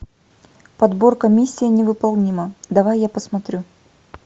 подборка миссия невыполнима давай я посмотрю